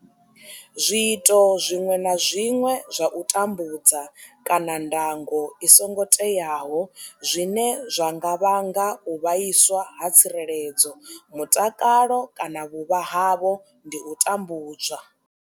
Zwiito zwiṅwe na zwiṅwe zwa u tambudza kana ndango i songo teaho zwine zwa nga vhanga u vhaiswa ha tsireledzo, mutakalo kana vhuvha havho ndi u tambudzwa.